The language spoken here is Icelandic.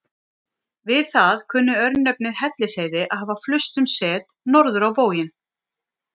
Við það kunni örnefnið Hellisheiði að hafa flust um set, norður á bóginn.